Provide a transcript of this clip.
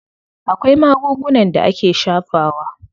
Akwai magungunan da ake shafawa.